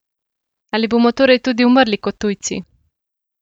Ali bomo torej tudi umrli kot tujci?